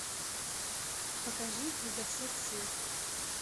покажи изо всех сил